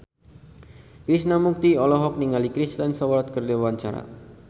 Krishna Mukti olohok ningali Kristen Stewart keur diwawancara